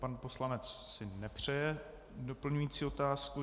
Pan poslanec si nepřeje doplňující otázku.